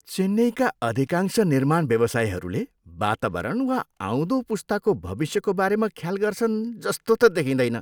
चेन्नईका अधिकांश निर्माणव्यवसायीहरूले वातावरण वा आउँदो पुस्ताको भविष्यको बारेमा ख्याल गर्छन् जस्तो त देखिँदैन।